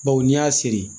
Baw n'i y'a seri